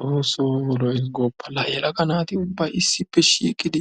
Xoosso lo”ees gooppa！ La yellagga naatti ubbay issippe shiiqqidi